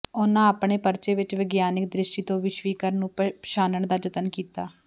ਉਨ੍ਹਾਂ ਆਪਣੇ ਪਰਚੇ ਵਿੱਚ ਵਿਗਿਆਨਕ ਦ੍ਰਿਸ਼ਟੀ ਤੋਂ ਵਿਸ਼ਵੀਕਰਨ ਨੂੰ ਪਛਾਨਣ ਦਾ ਯਤਨ ਕੀਤਾ